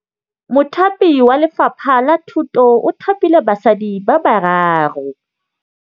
Mothapi wa Lefapha la Thutô o thapile basadi ba ba raro.